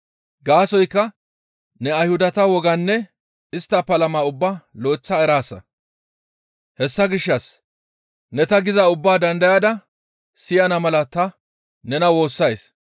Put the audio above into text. Gaasoykka ne Ayhudata wogaanne istta palama ubbaa lo7eththa eraasa; hessa gishshas ne ta gizaa ubbaa dandayada siyana mala ta nena woossays.